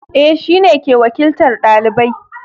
Eh, shine ke wakiltar ɗalibai